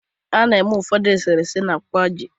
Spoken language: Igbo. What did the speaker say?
A na-eme ụfọdụ eserese na kwaaji